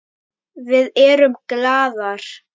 Við erum glaðar.